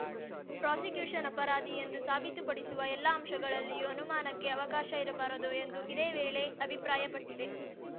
prosecution ಅಪರಾಧಿ ಎಂದು ಸಾಬೀತುಪಡಿಸುವ ಎಲ್ಲಾ ಅಂಶಗಳಲ್ಲಿಯೂ ಅನುಮಾನಕ್ಕೆ ಅವಕಾಶ ಇರಬಾರದು ಎಂದು ಇದೇ ವೇಳೆ ಅಭಿಪ್ರಾಯಪಟ್ಟಿದೆ